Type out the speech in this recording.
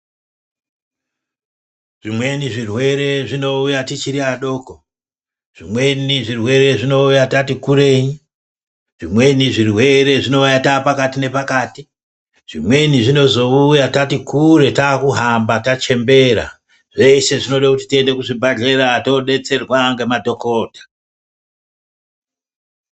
Zvimweni zvirwere zvinoita tixhiri vadoko zvimweni zvirwere zvinoita tatikurei zvimweni zvirwere zvinoita tapakati nepakati zvimweni zvinozoiyawo tati kure takuhamba tachembera zveshe zvinoda kuti tiende kuzvibhedhlera todetserwa nemadhokota.